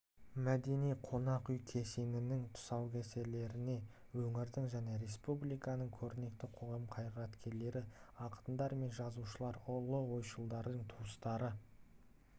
мәдени-қонақ үй кешенінің тұсаукесеріне өңірдің және республиканың көрнекті қоғам қайраткерлері ақындар мен жазушылар ұлы ойшылдың туыстары